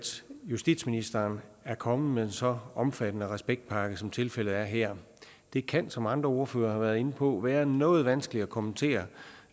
justitsministeren er kommet med en så omfattende respektpakke som tilfældet er her det kan som andre ordførere har været inde på være noget vanskeligt at kommentere